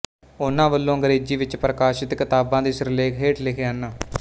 ਉਹਨਾਂ ਵੱਲੋਂ ਅੰਗ੍ਰੇਜ਼ੀ ਵਿੱਚ ਪ੍ਰਕਾਸ਼ਿਤ ਕਿਤਾਬਾਂ ਦੇ ਸਿਰਲੇਖ ਹੇਠ ਲਿਖੇ ਹਨ